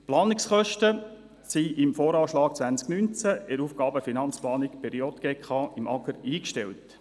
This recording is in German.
Die Planungskosten sind im Voranschlag 2019 in der Aufgaben- und Finanzplanung der JGK beim Amt für Gemeinden und Raumordnung (AGR) eingestellt.